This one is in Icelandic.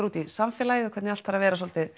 út í samfélagið og hvernig allt þarf að vera svolítið